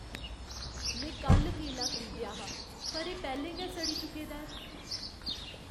में कल्ल केला खरीदेआ हा पर एह् पैह्लें गै सड़ी चुके दा ऐ।